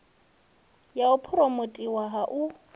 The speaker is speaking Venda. ya u phuromothiwa hu si